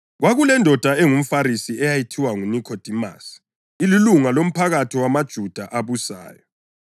Kwakulendoda engumFarisi eyayithiwa nguNikhodimasi, ililunga lomphakathi wamaJuda abusayo.